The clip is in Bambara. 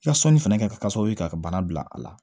I ka sɔnni fɛnɛ ka kɛ sababu ye ka bana bila a la